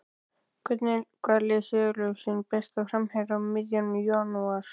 Hvaða lið selur sinn besta framherja um miðjan janúar?